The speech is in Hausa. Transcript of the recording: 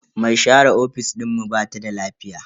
Me share ofis dinmu bata da lafiya.